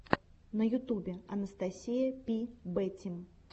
на ютубе анастасия пи бэтим